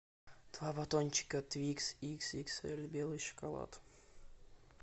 два батончика твикс икс икс эль белый шоколад